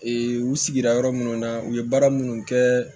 u sigira yɔrɔ minnu na u ye baara minnu kɛ